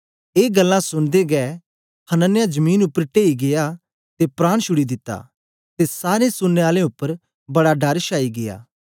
ए गल्लां सुनदे गै हनन्याह जमीन उपर टेई गीया ते प्राण शुड़ी दिता ते सारें सुनने आलें उपर बड़ा डर शाई गीया